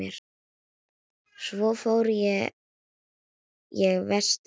Svo fór ég vestur.